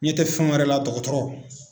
ɲɛ tɛ fɛn wɛrɛ la dɔgɔtɔrɔ